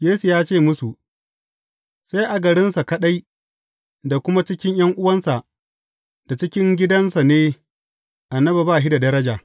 Yesu ya ce musu, Sai a garinsa kaɗai, da kuma cikin ’yan’uwansa, da cikin gidansa ne, annabi ba shi da daraja.